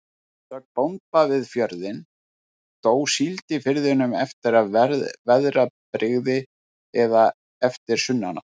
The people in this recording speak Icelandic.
Að sögn bónda við fjörðinn, dó síld í firðinum eftir veðrabrigði eða eftir sunnanátt.